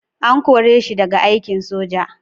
An kore shi daga aikin soja?